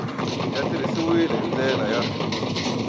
ya tirhisiwile hi ndlela ya